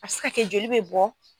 A bɛ se ka kɛ joli bɛ bɔn.